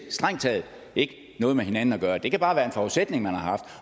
strengt taget ikke noget med hinanden at gøre det kan bare være en forudsætning man har